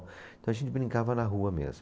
Então a gente brincava na rua mesmo.